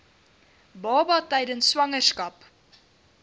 baba tydens swangerskap